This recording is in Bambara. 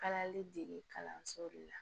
Kalali dege kalanso de la